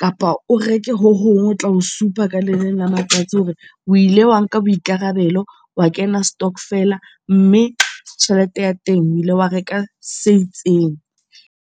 kapa o reke hohong ho tla ho supa ka leleng la matsatsi hore o ile wa nka boikarabelo, wa kena stokvel-a. Mme tjhelete ya teng o ile wa reka se itseng.